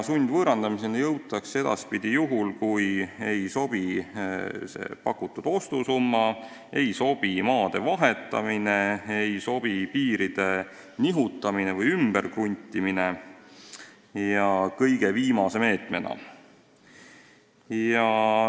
Sundvõõrandamiseni jõutakse edaspidi juhul, kui ei sobi pakutud ostusumma, ei sobi maa vahetamine, ei sobi piiri nihutamine või ümber kruntimine kõige viimase meetmena.